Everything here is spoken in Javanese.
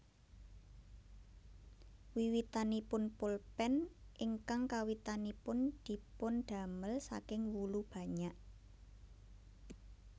Wiwitanipun pulpen ingkang kawitanipun dipun damel saking wulu banyak